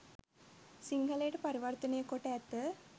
සිංහලයට පරිවර්තනය කොට ඇත.